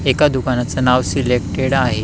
त्या दुकानाचं नाव सिलेक्टेड आहे.